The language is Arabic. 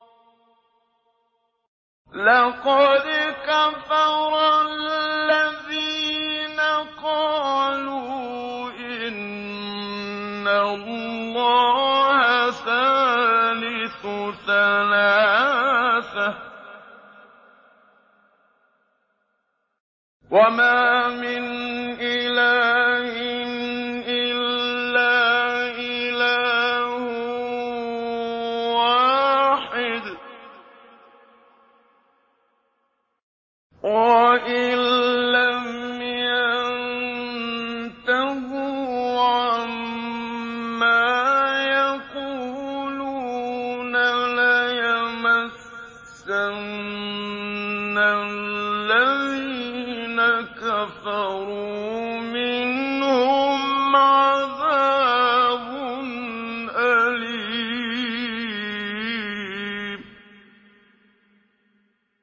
لَّقَدْ كَفَرَ الَّذِينَ قَالُوا إِنَّ اللَّهَ ثَالِثُ ثَلَاثَةٍ ۘ وَمَا مِنْ إِلَٰهٍ إِلَّا إِلَٰهٌ وَاحِدٌ ۚ وَإِن لَّمْ يَنتَهُوا عَمَّا يَقُولُونَ لَيَمَسَّنَّ الَّذِينَ كَفَرُوا مِنْهُمْ عَذَابٌ أَلِيمٌ